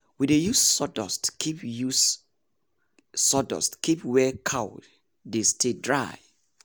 we dey use sawdust keep use sawdust keep where cow dey stay dry.